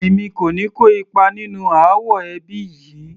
Èmi kò ní kó ipa nínú ááwọ̀ ẹbí yìí